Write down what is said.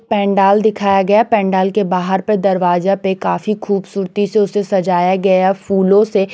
पांडाल दिखाया गया है पण्डाल के बाहर पे दरवाजा पे काफी खूबसूरती से उसे सजाया गया फूलो से।